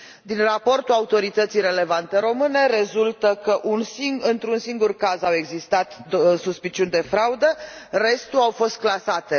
Din raportul autorității relevante române rezultă că într un singur caz au existat suspiciuni de fraudă, restul au fost clasate.